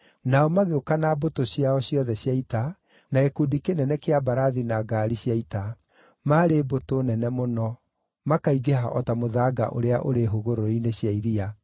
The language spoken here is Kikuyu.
Nao magĩũka na mbũtũ ciao ciothe cia ita, na gĩkundi kĩnene kĩa mbarathi na ngaari cia ita, maarĩ mbũtũ nene mũno, makaingĩha o ta mũthanga ũrĩa ũrĩ hũgũrũrũ-inĩ cia iria.